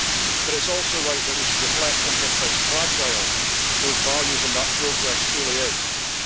But it is also right that we should reflect on just how fragile those values and that progress truly are.